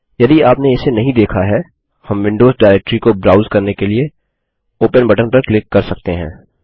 यदि आपने इसे नही देखा है हम विंडोज डाइरेक्टरी को ब्राउज़ करने के लिए ओपन बटन पर क्लिक कर सकते हैं